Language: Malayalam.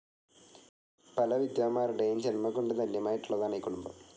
പല വിദ്വാൻമാരുടെയും ജൻമംകൊണ്ട് ധന്യമായിട്ടുളളതാണ് ഈ കുടുംബം.